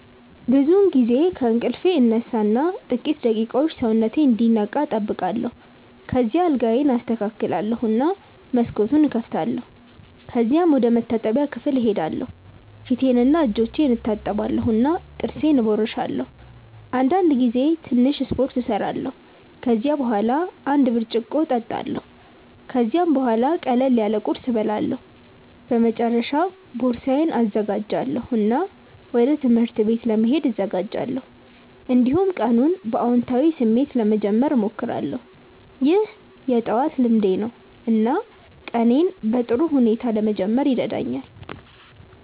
ብዙውን ጊዜ ከእንቅልፌ እነሳ እና ጥቂት ደቂቃዎች ሰውነቴን እንዲነቃ እጠብቃለሁ። ከዚያ አልጋዬን አስተካክላለሁ እና መስኮቱን እከፍታለሁ። ከዚያም ወደ መታጠቢያ ክፍል እሄዳለሁ ፊቴንና እጆቼን እታጠባለሁ እና ጥርሴን እቦርሳለሁ። አንዳንድ ጊዜ ትንሽ ስፖርት እሰራለሁ። ከዚያ በኋላ አንድ ብርጭቆ እጠጣለሁ። ከዚያም ቡሃላ ቅለል ያለ ቁርስ እበላለሁ። በመጨረሻ ቦርሳዬን እዘጋጃለሁ እና ወደ ትምህርት ቤት ለመሄድ እዘጋጃለሁ። እንዲሁም ቀኑን በአዎንታዊ ስሜት ለመጀመር እሞክራለሁ። ይህ የጠዋት ልምዴ ነው እና ቀኔን በጥሩ ሁኔታ ለመጀመር ይረዳኛል።